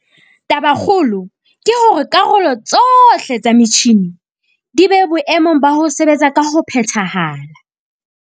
Tabakgolo ke hore karolo tsohle tsa metjhine di be boemong ba ho sebetsa ka ho phethahala.